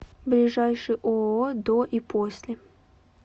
ближайший ооо до и после